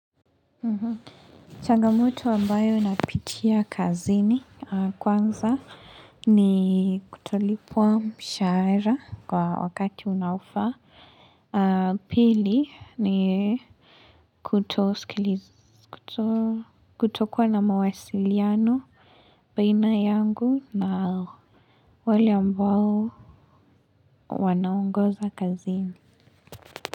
Changamoto ambayo napitia kazini kwanza ni kutolipwa mshahara kwa wakati unaofaa Pili ni kutoskiliza kutokuwa na mawasiliano baina yangu na wale ambao wanaongoza kazini.